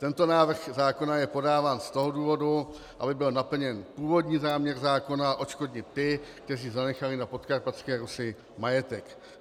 Tento návrh zákona je podáván z toho důvodu, aby byl naplněn původní záměr zákona odškodnit ty, kteří zanechali na Podkarpatské Rusi majetek.